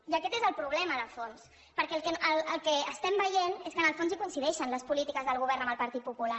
i aquest és el problema de fons perquè el que estem veient és que en el fons hi coincideixen les polítiques del govern amb el partit popular